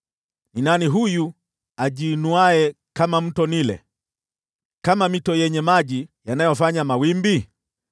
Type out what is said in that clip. “Ni nani huyu ajiinuaye kama Mto Naili, kama mito yenye maji yanayofanya mawimbi?